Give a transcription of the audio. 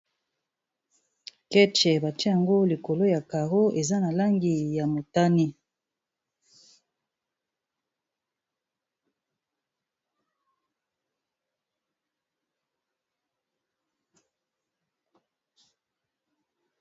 keche batia yango likolo ya carro eza na langi ya motani